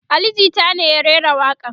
Ali jita ne ya rera waƙa n